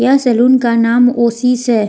यह सैलून का नाम ओसिस है।